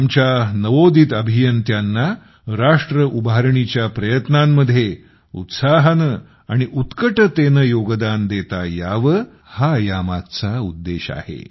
आमच्या नवोदित अभियंत्यांना राष्ट्र उभारणीच्या प्रयत्नांमध्ये उत्साहाने आणि उत्कटतेने यात योगदान देता यावे हा यामागचा उद्देश आहे